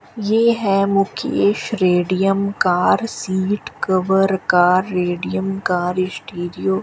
ये है Mukesh radium car seat cover का रेडियम कार स्टीरियो ।